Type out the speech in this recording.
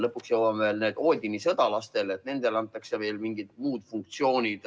Lõpuks jõuame selleni, et Odini sõdalastele antakse ka mingid muud funktsioonid.